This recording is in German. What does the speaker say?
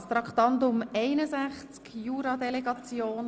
Ich begrüsse ganz herzlich Herrn Regierungsrat Schnegg.